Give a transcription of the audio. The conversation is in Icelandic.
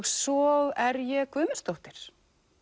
svo er ég Guðmundsdóttir